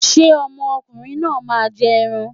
Ṣé ọmọ ọkùnrin náà máa jẹ ẹran?